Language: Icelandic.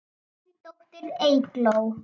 Þín dóttir, Eygló.